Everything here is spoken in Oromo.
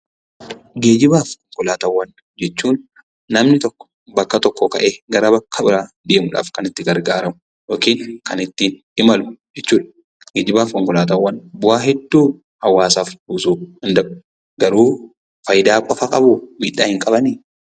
Geejjibaa fi konkolaataawwan jechuun namni tokko bakka tokkoo ka'ee bakka biraa deemuudhaaf kan itti gargaaramu yookiin kan ittiin imalu jechuudha. Geejjibaa fi konkolaataawwan bu'aa hedduu hawaasaaf buusuu danda'u. Geejjibaa fi konkolaataawwan faayidaa qofa qabuu? Miidhaa hin qabanii?